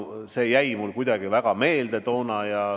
See jäi mulle toona kuidagi väga meelde.